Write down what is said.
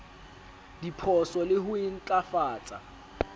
diphoso le ho e ntlafatsa